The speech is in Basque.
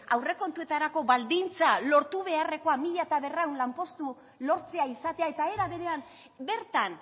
aurrekontuetarako baldintza lortu beharrekoa mila berrehun lanpostu lortzea izatea eta era berean bertan